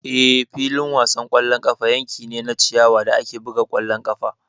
Eh, filin wasan ƙwallon ƙafa yanki ne na ciyawa da ake buga ƙwallon ƙafa.